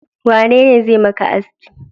Waye zai maka haski?